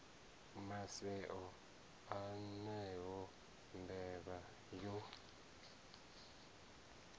maseo a yone mbevha yo